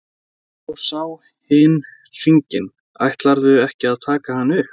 Þá sá hin hringinn: Ætlarðu ekki að taka hann upp?